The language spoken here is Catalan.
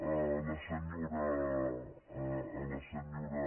a la senyora a la senyora